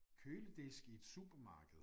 Køledisk i et supermarked